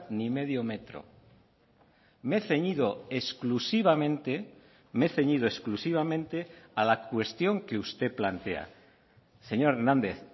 ni medio metro me he ceñido exclusivamente me he ceñido exclusivamente a la cuestión que usted plantea señor hernández